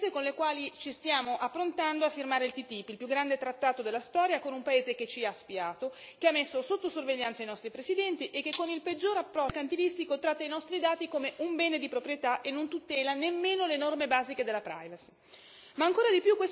Queste sono le premesse con le quali ci stiamo approntando a firmare il TTIP il più grande trattato della storia con un paese che ci ha spiato, che ha messo sotto sorveglianza i nostri presidenti e che, con il peggior approccio mercantilistico, tratta i nostri dati come un bene di proprietà e non tutela nemmeno le norme basiche della privacy.